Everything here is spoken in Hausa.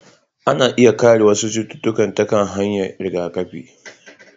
Ana iya kare wasu cututtuka ta hanyar rigakafi,